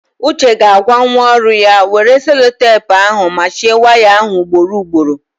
Uche ga-agwa nwa ọrụ ya, were selotepu ahụ machie waya ahụ ugboro ugboro!